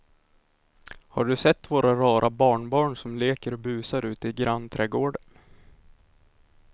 Har du sett våra rara barnbarn som leker och busar ute i grannträdgården!